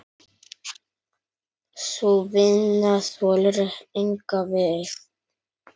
Sú vinna þolir enga bið.